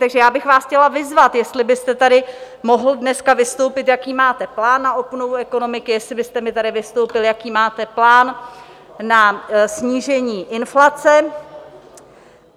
Takže já bych vás chtěla vyzvat, jestli byste tady mohl dneska vystoupit, jaký máte plán na obnovu ekonomiky, jestli byste mi tady vystoupil , jaký máte plán na snížení inflace.